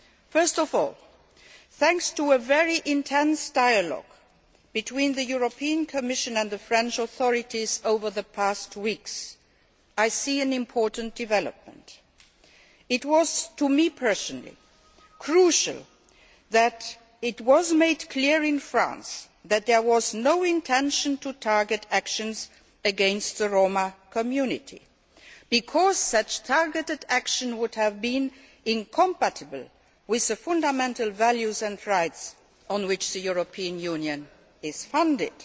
First of all, thanks to a very intense dialogue between the Commission and the French authorities over the past weeks, I see an important development. I viewed it as crucial that it was made clear in France that there was no intention to target actions against the Roma community, because such targeted action would have been incompatible with the fundamental values and rights on which the European Union is founded.